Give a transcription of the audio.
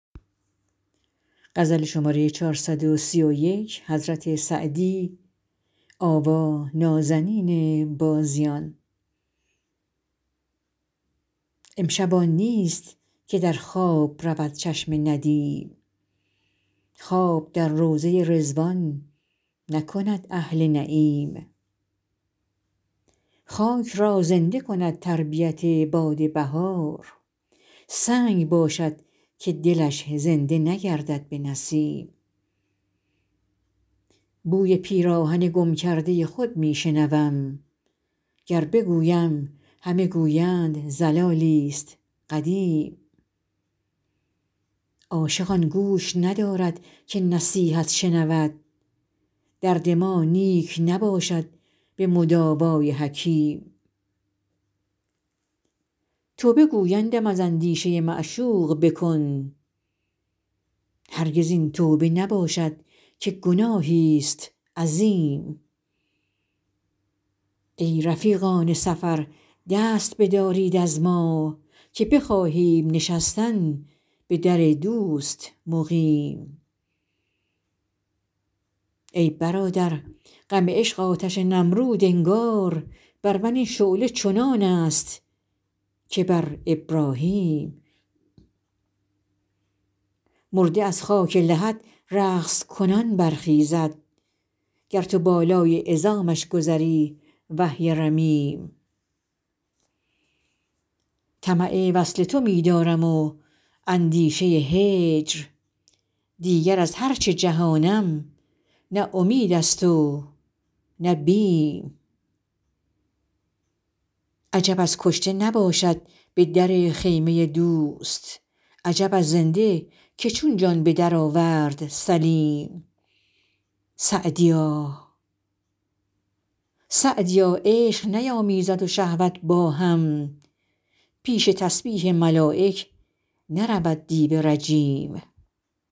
امشب آن نیست که در خواب رود چشم ندیم خواب در روضه رضوان نکند اهل نعیم خاک را زنده کند تربیت باد بهار سنگ باشد که دلش زنده نگردد به نسیم بوی پیراهن گم کرده خود می شنوم گر بگویم همه گویند ضلالی ست قدیم عاشق آن گوش ندارد که نصیحت شنود درد ما نیک نباشد به مداوا ی حکیم توبه گویندم از اندیشه معشوق بکن هرگز این توبه نباشد که گناهی ست عظیم ای رفیقان سفر دست بدارید از ما که بخواهیم نشستن به در دوست مقیم ای برادر غم عشق آتش نمرود انگار بر من این شعله چنان است که بر ابراهیم مرده از خاک لحد رقص کنان برخیزد گر تو بالای عظامش گذری وهی رمیم طمع وصل تو می دارم و اندیشه هجر دیگر از هر چه جهانم نه امید است و نه بیم عجب از کشته نباشد به در خیمه دوست عجب از زنده که چون جان به درآورد سلیم سعدیا عشق نیامیزد و شهوت با هم پیش تسبیح ملایک نرود دیو رجیم